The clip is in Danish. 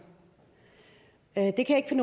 det kan